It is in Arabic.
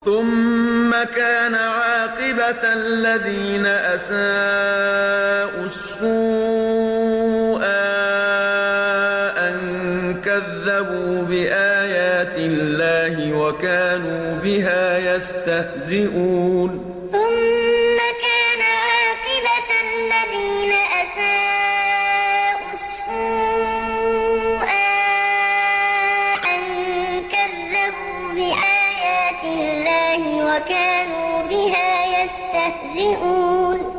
ثُمَّ كَانَ عَاقِبَةَ الَّذِينَ أَسَاءُوا السُّوأَىٰ أَن كَذَّبُوا بِآيَاتِ اللَّهِ وَكَانُوا بِهَا يَسْتَهْزِئُونَ ثُمَّ كَانَ عَاقِبَةَ الَّذِينَ أَسَاءُوا السُّوأَىٰ أَن كَذَّبُوا بِآيَاتِ اللَّهِ وَكَانُوا بِهَا يَسْتَهْزِئُونَ